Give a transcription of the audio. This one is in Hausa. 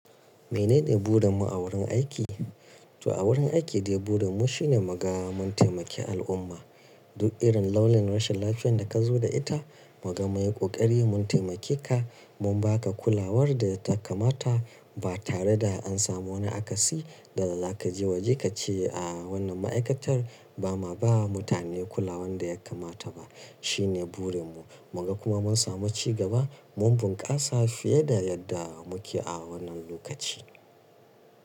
Menene burin mu a wurin aiki? To a wurin aiki dai burin mu shine mu ga mun taimaki al'umma. Duk irin launin rashin lafiyar da ka zo da ita, muga mun yi ƙoƙari mun taimake ka, mun ba ka kulawar da ta kamata ba tare da an samu wani akasi da za ka je waje ka ce a wannan ma'aikatar ba ma ba mutane kulawar da ya kamata ba. Shine burin mu. Mu ga kuma mun samu cigaba, mun bunkasa fiye da yadda muke a wannan lokaci.